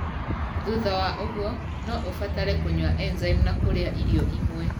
Thutha wa ũguo, no ũbatare kũnyua enzaimu na kũrĩa irio imwe.